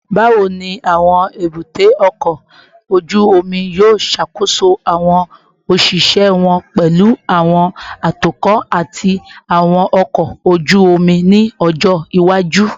Bawo ni awọn ebute oko oju omi yoo ṣakoso awọn oṣiṣẹ wọn, pẹlu awọn atukọ ati awọn ọkọ oju omi ni ọjọ iwaju?